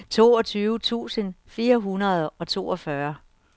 toogtyve tusind fire hundrede og toogfyrre